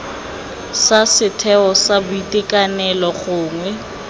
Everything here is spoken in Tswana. sa setheo sa boitekanelo gongwe